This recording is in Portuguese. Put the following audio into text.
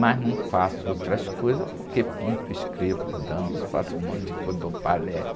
Mas não faço outras coisas porque pinto, escrevo, danço, faço um monte de coisa, dou palestras.